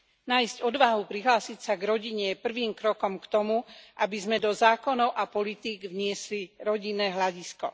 Nájsť odvahu prihlásiť sa k rodine, je prvým krokom k tomu, aby sme do zákonov a politík vniesli rodinné hľadisko.